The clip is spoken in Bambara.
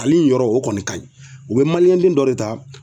Ale yɔrɔ o kɔni kaɲi u be den dɔ de ta